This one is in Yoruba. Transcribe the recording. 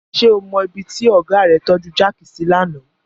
Ṣé o mọ ibi tí ọ̀gá rẹ tọ́ju jáàkì sí lánàá?